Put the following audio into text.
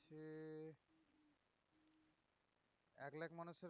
এক লাখ মানুষের